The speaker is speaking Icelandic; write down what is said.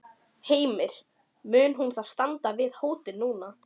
Heimir, mun hún þá standa við þá hótun núna?